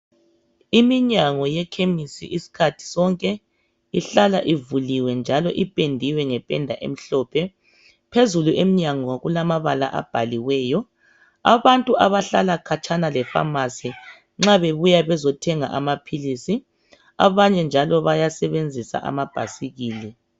Iminyango yekhemisi iskhathi sonke ihlala ivuliwe njalo ipendwe ngembala emhlophe. Phezulu emnyango kulamabala abhaliweyo. Abantu abahlala khatshana le"pharmacy" nxa bebuya bezothenga amaphilisi abanye njalo bayasebenzisa amabhasikili.